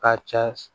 Ka cɛ